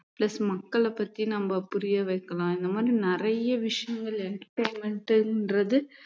plus மக்களைப் பத்தி நம்ம புரிய வைக்கலாம் இந்த மாரி நிறைய விஷயங்கள் entertainment ன்றது